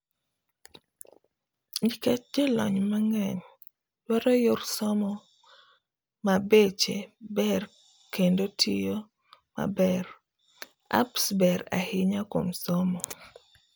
Nikech jolony mang'eny duaro yor somo mabeche ber kendo tiyo maber apps ber ahinya kuom somo.